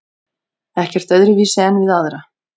Ekkert öðruvísi en við aðra.